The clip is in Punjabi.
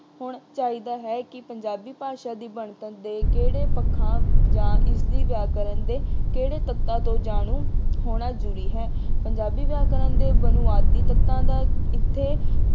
ਹੋਣਾ ਚਾਹੀਦਾ ਹੈ ਕਿ ਪੰਜਾਬੀ ਭਾਸ਼ਾ ਦੀ ਬਣਤਰ ਦੇ ਕਿਹੜੇ ਪੱਖਾਂ ਜਾਂ ਇਸਦੀ ਵਿਆਕਰਨ ਦੇ ਕਿਹੜੇ ਤੱਤਾਂ ਤੋਂ ਜਾਣੂ ਹੋਣਾ ਜ਼ਰੂਰੀ ਹੈ। ਪੰਜਾਬੀ ਵਿਆਕਰਨ ਦੇ ਬੁਨਿਆਦੀ ਤੱਤਾਂ ਦਾ ਇੱਥੇ